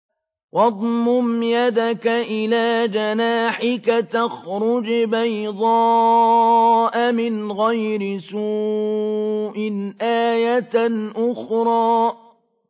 وَاضْمُمْ يَدَكَ إِلَىٰ جَنَاحِكَ تَخْرُجْ بَيْضَاءَ مِنْ غَيْرِ سُوءٍ آيَةً أُخْرَىٰ